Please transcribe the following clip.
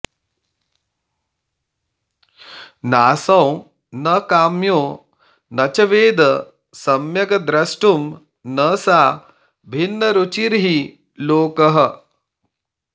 नासौ न काम्यो न च वेद सम्यग्द्रष्टुं न सा भिन्नरुचिर्हि लोकः